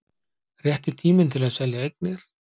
Rétti tíminn til að selja eignir